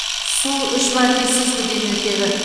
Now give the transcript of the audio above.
су үш мәрте сүзгіден өтеді